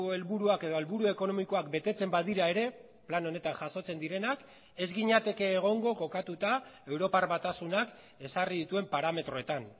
helburuak edo helburu ekonomikoak betetzen badira ere plan honetan jasotzen direnak ez ginateke egongo kokatuta europar batasunak ezarri dituen parametroetan